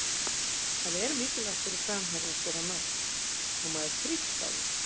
Það er mikilvægt fyrir framherja að skora mörk og maður þrífst á því.